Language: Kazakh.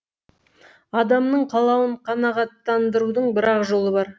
адамның қалауын қанағаттандырудың бірақ жолы бар